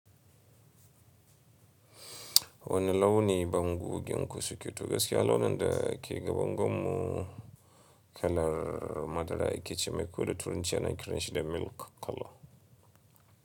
Wane launi bangoginku suke to? Gaskiya launin da ke ga bangon mu kalar madara yake, ce mai ko da turunci ana kiranshi da milk color.